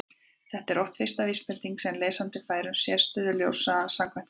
þetta er oft fyrsta vísbendingin sem lesandi fær um sérstöðu ljóshraðans samkvæmt kenningunni